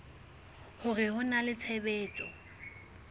hore ho na le tshebetso